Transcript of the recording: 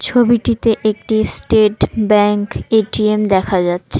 ছবিটিতে একটি state bank ATM দেখা যাচ্ছে।